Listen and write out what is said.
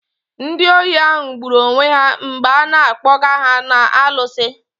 Ndị ohi ahụ gburu onwe ha mgbe a na-akpoga ha na alụsi.